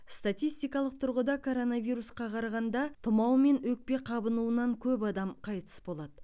статистикалық тұрғыда коронавирусқа қарағанда тұмау мен өкпе қабынуынан көп адам қайтыс болады